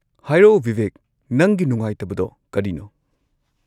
ꯍꯥꯏꯔꯛꯑꯣ, ꯕꯤꯕꯦꯛ, ꯅꯪꯒꯤ ꯅꯨꯡꯉꯥꯏꯇꯕꯗꯣ ꯀꯔꯤꯅꯣ?